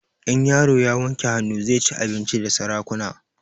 In yaro ya wanke hanun sa zai ci abinci da sarakuna